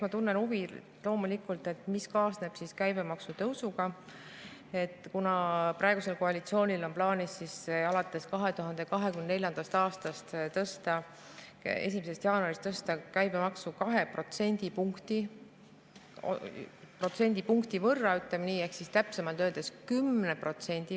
Ma loomulikult tunnen huvi, mis kaasneb käibemaksu tõusuga, kuna praegusel koalitsioonil on plaanis alates 2024. aasta 1. jaanuarist tõsta käibemaksu 2 protsendipunkti võrra ehk täpsemalt öeldes 10%.